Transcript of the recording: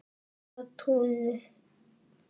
TÓMA TUNNU!